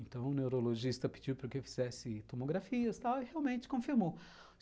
Então o neurologista pediu para que eu fizesse tomografias e realmente confirmou.